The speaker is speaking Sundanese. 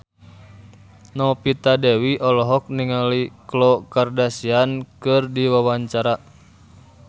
Novita Dewi olohok ningali Khloe Kardashian keur diwawancara